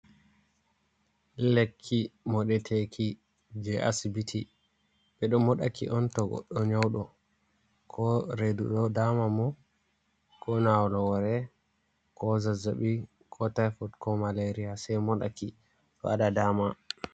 Lekki moɗe teki je asibiti, ɓeɗo mo ɗaki on to goɗɗo nyauɗo ko redu ɗo dama mo, ko ñawugo hore, ko zazzaɓi ko taifod, ko malaria sai moɗa ki do waɗa dama.